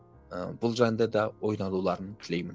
ы бұл жайында да ойлануларын тілеймін